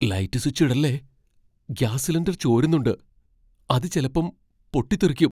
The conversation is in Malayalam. ലൈറ്റ് സ്വിച്ചിടല്ലേ. ഗ്യാസ് സിലിണ്ടർ ചോരുന്നുണ്ട്, അത് ചെലപ്പം പൊട്ടിത്തെറിക്കും.